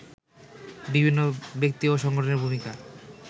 বিভিন্ন ব্যক্তি ও সংগঠনের ভূমিকা